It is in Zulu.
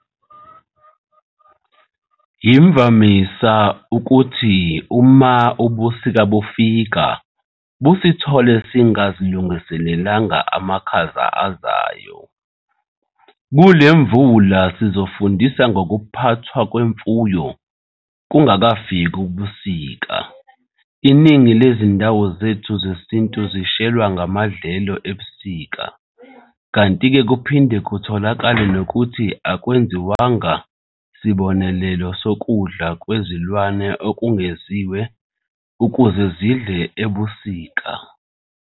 Yimvamisa ukuthi uma ubusika bufika busithole singazilungiselelanga amakhaza azayo. Kule Pula-Imvula sizofunda ngokuphathwa kwemfuyo bungakafiki ubusika. Iningi lezindawo zethu zesintu zishelwa amadlelo ebusika, kanti-ke kuphinde kutholakale nokuthi akwenziwanga sibonelelo sokudla kwezilwane okwengeziwe ukuze zidle ebusika.